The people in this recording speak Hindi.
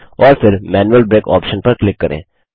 और फिर मैनुअल ब्रेक ऑप्शन पर क्लिक करें